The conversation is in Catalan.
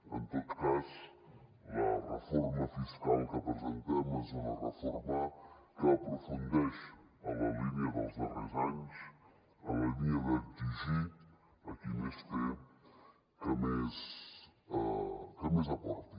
en tot cas la reforma fiscal que presentem és una reforma que aprofundeix en la línia dels darrers anys en la línia d’exigir a qui més té que més aporti